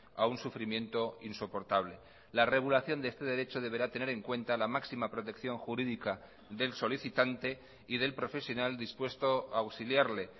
a un sufrimiento insoportable la regulación de este derecho deberá tener en cuenta la máxima protección jurídica del solicitante y del profesional dispuesto a auxiliarle